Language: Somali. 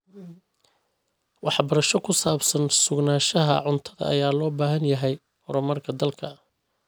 Waxbarasho ku saabsan sugnaanshaha cuntada ayaa loo baahan yahay horumarka dalka.